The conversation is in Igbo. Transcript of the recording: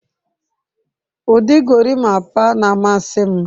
Ụdị gorimapa na-amasị m.